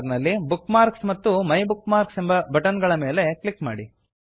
menu bar ನಲ್ಲಿ bookmarks ಮತ್ತು my bookmarks ಎಂಬ ಬಟನ್ ಗಳ ಮೇಲೆ ಕ್ಲಿಕ್ ಮಾಡಿ